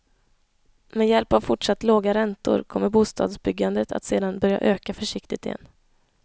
Med hjälp av fortsatt låga räntor kommer bostadsbyggandet att sedan börja öka försiktigt igen.